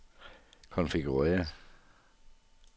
konfigurér